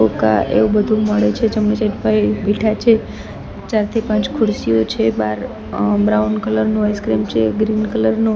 હોકા એવુ બધું મળે છે જમણી સાઇડ ભાઈ બેઠા છે ચાર થી પાંચ ખુરશીઓ છે બાર અહ બ્રાઉન કલર નો આઈસક્રીમ છે ગ્રીન કલર નો --